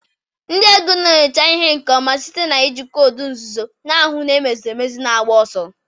Ndị ego na-enyocha ihe nke ọma site na iji koodu nzuzo, na-ahu na emeziri emezie naigba ọsọ.